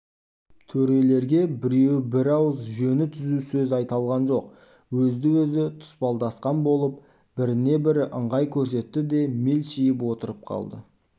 төрелерге біреуі бір ауыз жөні түзу сөз айта алған жоқ өзді-өзі тұспалдасқан болып біріне бірі ыңғай көрсетті де мелшиіп отырып қалды